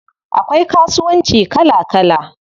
Akwai kasuwanci kala kala.